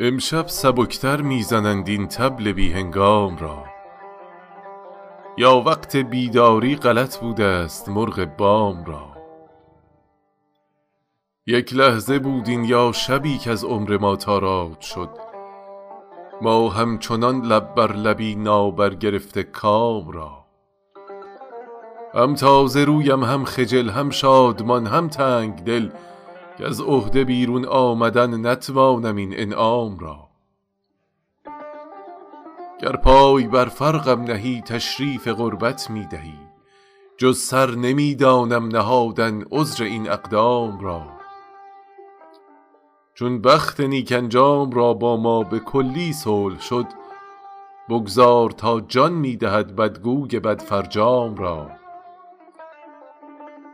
امشب سبک تر می زنند این طبل بی هنگام را یا وقت بیداری غلط بودست مرغ بام را یک لحظه بود این یا شبی کز عمر ما تاراج شد ما همچنان لب بر لبی نابرگرفته کام را هم تازه رویم هم خجل هم شادمان هم تنگ دل کز عهده بیرون آمدن نتوانم این انعام را گر پای بر فرقم نهی تشریف قربت می دهی جز سر نمی دانم نهادن عذر این اقدام را چون بخت نیک انجام را با ما به کلی صلح شد بگذار تا جان می دهد بدگوی بدفرجام را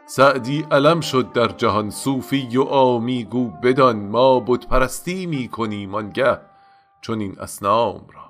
سعدی علم شد در جهان صوفی و عامی گو بدان ما بت پرستی می کنیم آن گه چنین اصنام را